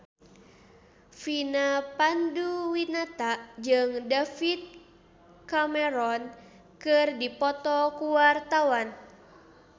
Vina Panduwinata jeung David Cameron keur dipoto ku wartawan